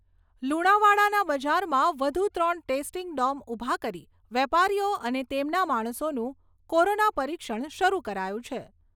લુણાવાડાના બજારમાં વધું ત્રણ ટેસ્ટિંગ ડોમ ઊભા કરી વેપારીઓ અને તેમના માણસોનું કોરોના પરીક્ષણ શરૂ કરાયું છે.